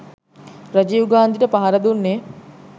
රජීව් ගාන්ධිට පහර දුන්නෙ